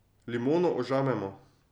Limono ožamemo.